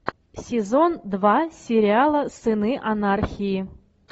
сезон два сериала сыны анархии